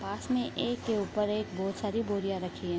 पास में एक के ऊपर एक बहोत सारी बोरियाँ रखी हैं।